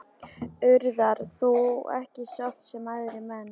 Urðar þú ekki sorp, sem aðrir menn?